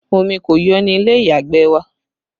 Omi kò yọ ní ilé ìyàgbẹ̀ wa